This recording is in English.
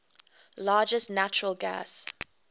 largest natural gas